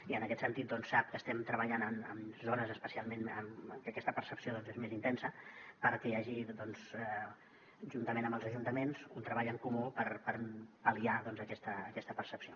i en aquest sentit sap que estem treballant en zones especialment en què aquesta percepció és més intensa perquè hi hagi juntament amb els ajuntaments un treball en comú per pal·liar aquesta percepció